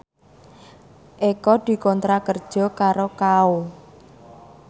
Eko dikontrak kerja karo Kao